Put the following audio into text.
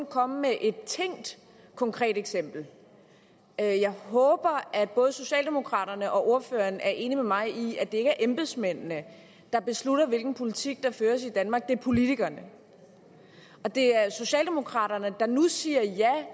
komme med et tænkt konkret eksempel jeg jeg håber at både socialdemokraterne og ordføreren er enig med mig i at det ikke er embedsmændene der beslutter hvilken politik der føres i danmark det er politikerne og det er socialdemokraterne der nu siger ja